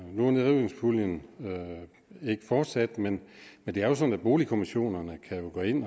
nu er nedrivningspuljen ikke fortsat men men det er jo sådan at boligkommissionerne kan